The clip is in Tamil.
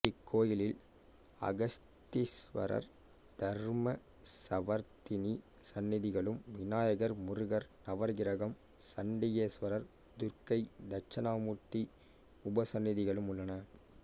இக்கோயிலில் அகஸ்தீஸ்வரர் தர்மசவர்த்தினி சன்னதிகளும் விநாயகர் முருகர் நவகிரகம் சண்டிகேஸ்வரர் துர்க்கை தட்சிணாமூர்த்தி உபசன்னதிகளும் உள்ளன